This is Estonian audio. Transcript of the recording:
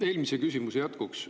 Eelmise küsimuse jätkuks.